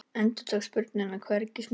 Endurtók spurninguna hvergi smeykur.